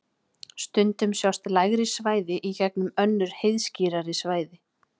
Stundum sjást lægri svæði í gegnum önnur heiðskírari svæði.